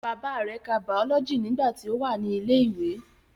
Bàbá rẹ̀ ka bàọ́lọ́jì nígbà tí ó wà ní ilẹ̀ ìwé